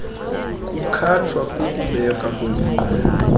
kukhatshwa kukubekwa kweminqweno